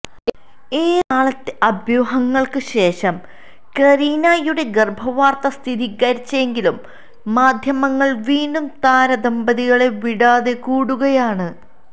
ഏറെ നാളത്തെ അഭ്യൂഹങ്ങൾക്ക് ശേഷം കരീനയുടെ ഗർഭവാർത്ത സ്ഥിരികരിച്ചെങ്കിലും മാദ്ധ്യമങ്ങൾ വീണ്ടും താരദമ്പതികളെ വിടാതെ കൂടിയിരിക്കുകയാണ്